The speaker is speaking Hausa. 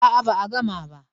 A'a ba a gama ba.